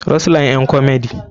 rose line ƴan komedi.